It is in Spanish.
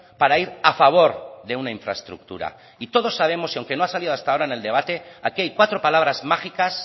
para ir a favor de una infraestructura y todos sabemos y aunque no ha salido hasta ahora en el debate aquí hay cuatro palabras mágicas